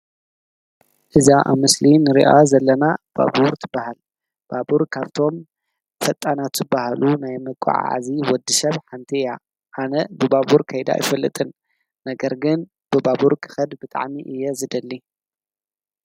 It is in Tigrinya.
እዛ ኣብ ምስሊ እንርእያ ዘለና ባቡር ትብሃል፤ ባቡር ካብቶም ፈጣናት ዝብሃሉ ናይ መጓዓዓዚ ወዲሰብ ሓንቲ እያ፤ ኣነ ብባቡር ከይደ ኣይፈልጥን ነገር ግን ብባቡር ክከድ ብጣዕሚ እየ ዝደሊ።